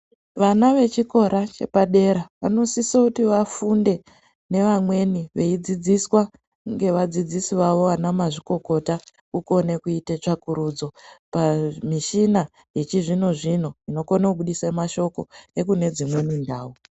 Vana vechikora chepadera vanosisa kuti vafunde nevamweni veidzidziswa ngevadzidzisi vavo vana mazvikokota kukone kuita tsvakurudzo pamishina yechizvinozvino inokona kubudise mashoko ekunedzimweni ndau.